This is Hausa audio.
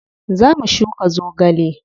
Zo mu shuka zogale.